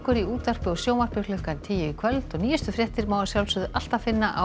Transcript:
í útvarpi og sjónvarpi klukkan tíu í kvöld og nýjustu fréttir má alltaf finna á